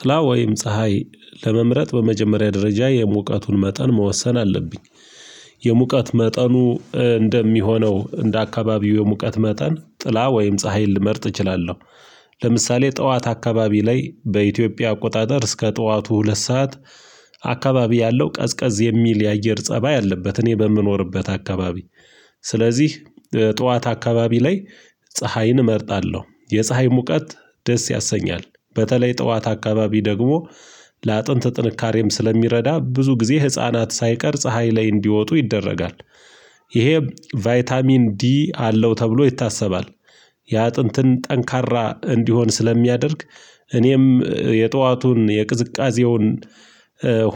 ጥላ ወይም ፀሀይ ለመምረጥ በመጀመሪያ ደረጃ የሙቀቱን መጠን መወሰን አለብኝ። የሙቀት መጠኑ እንደሚሆነው እንደ አካባቢው የሙቀት መጠን ጥላ ወይም ፀሀይን ልመርጥ እችላለሁ። ለምሳሌ ጠዋት አካባቢ ላይ በኢትዮጵያ አቆጣጠር እስከ ጠዋቱ ሁለት ሰዓት አካባቢ ያለው ቀዝቀዝ የሚል የአየር ፀባይ አለበት። እኔ በምኖርበት አካባቢ። ስለዚህ ጠዋት አካባቢ ላይ ፀሀይን እመርጣለሁ የፀሀይ ሙቀት ደስ ያሰኛል በተለይ ጠዋት አካባቢ ደግሞ ለአጥንት ጥንካሬም ስለሚረዳ ብዙ ጊዜ ህፃናት ሳይቀር ፀሀይ ላይ እንዲወጡ ይደረጋል። ይሄ ቫይታሚን ዲ አለው ተብሎ ይታሰባል። የአጥንትን ጠንካራ እንዲሆን ስለሚያደርግ እኔም የጧቱን የቅዝቃዜውን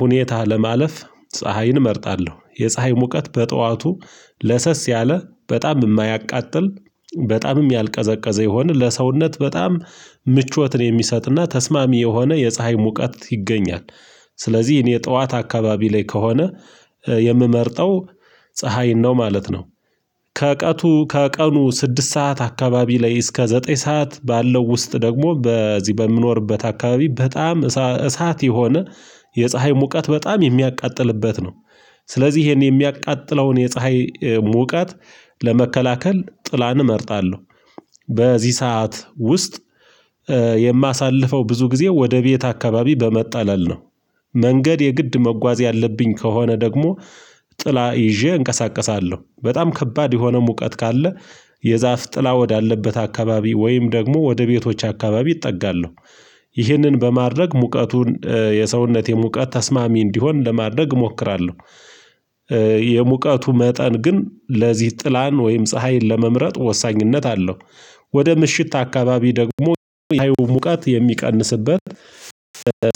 ሁኔታ ለማለፍ ፀሀይን እመርጣለሁ። የፀሀይ ሙቀት በጠዋቱ ለሰስ ያለ በጣም የማያቃጥል በጣምም ያልቀዘቀዘ የሆነ ለሰውነት በጣም ምቾትን የሚሰጥና ተስማሚ የሆነ የፀሀይ ሙቀት ይገኛል። ስለዚህ እኔ ጠዋት አካባቢ ላይ ከሆነ የምመርጠው ፀሀይን ነው ማለት ነው። ከቀቱ ከቀኑ ስድስት ሰዓት አካባቢ ላይ እስከ ዘጠኝ ሰዓት ባለው ውስጥ ደግሞ በዚህ በምኖርበት አካባቢ በጣም እሳት የሆነ የፀሀይ ሙቀት በጣም የሚያቃጥልበት ነው። ስለዚህ ይሄን የሚያቃጥለውን የፀሀይ ሙቀት ለመከላከል ጥላን እመርጣለሁ። በዚህ ሰዓት ውስጥ የማሳልፈው ብዙ ጊዜ ወደ ቤት አካባቢ በመጣላል ነው። መንገድ የግድ መጓዝ ያለብኝ ከሆነ ደግሞ ጥላ ይዤ እንቀሳቀሳለሁ በጣም ከባድ የሆነ ሙቀት ካለ የዛፍ ጥላ ወዳለበት አካባቢ ወይም ደግሞ ወደ ቤቶች አካባቢ እጠጋለሁ። ይህንን በማድረግ ሙቀቱን የሰውነት የሙቀት ተስማሚ እንዲሆን ለማድረግ እሞክራለሁ። የሙቀቱ መጠን ግን ለዚህ ጥላን ወይም ፀሀይን ለመምረጥ ወሳኝነት አለው። ወደ ምሽት አካባቢ ደግሞ ሙቀት የሚቀንስበት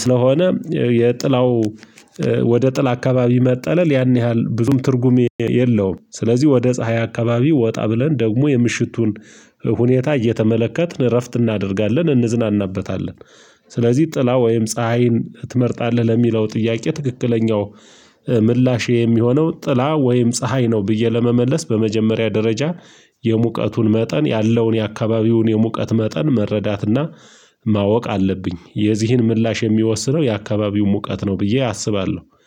ስለሆነ የጥላው ወደ ጥላ አካባቢ መጠለል ያን ያህል ብዙም ትርጉም የለውም። ስለዚህ ወደ ፀሀይ አካባቢ ወጣ ብለን ደግሞ የምሽቱን ሁኔታ እየተመለከትን እረፍት እናደርጋለን እንዝናናበታለን። ስለዚህ ጥላ ወይም ፀሀይን ትመርጣለህ ለሚለው ጥያቄ ትክክለኛው ምላሽ የሚሆነው ጥላ ወይም ፀሀይ ነው። ብዬ ለመመለስ በመጀመሪያ ደረጃ የሙቀቱን መጠን ያለውን የአካባቢውን የሙቀት መጠን መረዳትና ማወቅ አለብኝ። የዚህን ምላሽ የሚወስነው የአካባቢው ሙቀት ነው ብዬ አስባለሁ